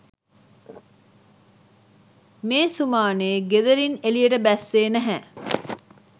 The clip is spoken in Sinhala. මේ සුමානෙ ගෙදරින් එළියට බැස්සෙ නැහැ.